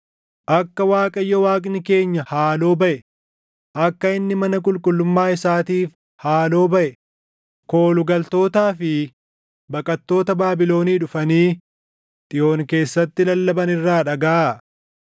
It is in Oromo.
Akka Waaqayyo Waaqni keenya haaloo baʼe, akka inni mana qulqullummaa isaatiif haaloo baʼe, kooluu galtootaa fi baqattoota Baabilonii dhufanii Xiyoon keessatti lallaban irraa dhagaʼaa.